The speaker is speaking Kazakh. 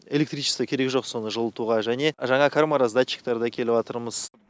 электричество керегі жоқ соны жылытуға және жаңа кармараздатчиктерді әкеліватырмыз